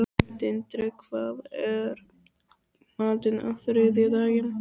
Tindri, hvað er í matinn á þriðjudaginn?